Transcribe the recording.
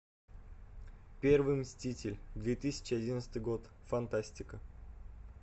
первый мститель две тысячи одиннадцатый год фантастика